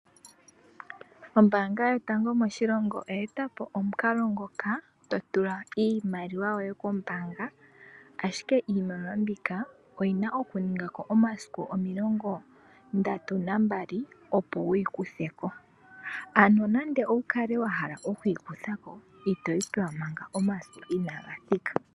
Ombaanga yotango moshilongo oya etapo omukalo ngoka, totula iimaliwa yoye kombaanga, ashike iimaliwa mbika oyina okuninga ko omasiku omilongo ndatu na mbali opo wuyi kutheko. Ano nande owu kalewa hala okuyi kuthako, itoyi pewa manga omasiku inaaga thika.